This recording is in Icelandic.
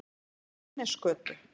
Fjölnisgötu